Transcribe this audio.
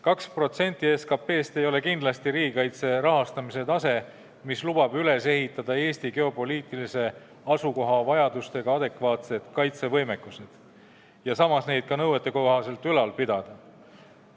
2% SKP-st ei ole kindlasti selline riigikaitse rahastamise tase, mis võimaldaks üles ehitada Eesti geopoliitilise asukoha vajadusi arvestava adekvaatse kaitsevõimekuse ja seda ka nõuetekohaselt ülal pidada.